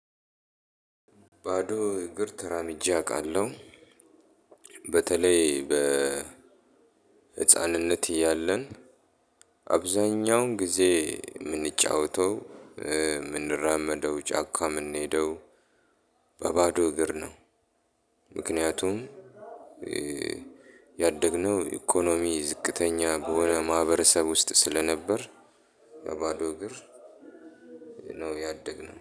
ባዶ እግር ተራምጄ አውቃለሁ። በተለይ በ ህፃንነት እያለን አብዛኛውን ጊዜ የምንጫወተው፣ የምንራመደው፣ ጫካ የምንሄደው በባዶ እግር ነው። ምክንያቱም ያደግነው ኢኮኖሚ ዝቅተኛ በሆነ ማህበረሰብ ውስጥ ስለነበር፣ በባዶ እግር ነው ያደግነው።